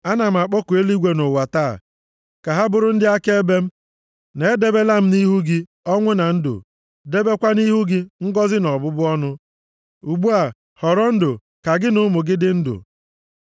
Ana m akpọku eluigwe na ụwa + 30:19 \+xt Dit 4:26; 8:19\+xt* taa ka ha bụrụ ndị akaebe m, na edebela m nʼihu gị ọnwụ na ndụ, debekwa nʼihu gị ngọzị na ọbụbụ ọnụ. Ugbu a, họrọ ndụ, ka gị na ụmụ gị dị ndụ